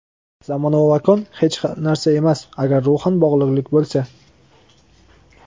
Zamon va makon hech narsa emas agar ruhan bog‘liqlik bo‘lsa.